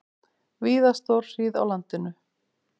Víða stórhríð á landinu